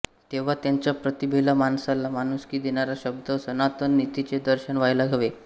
तेव्हा त्यांच्या प्रतिभेला माणसाला माणुसकी देणाऱ्या शुद्ध सनातन नीतीचे दर्शन व्हायला हवे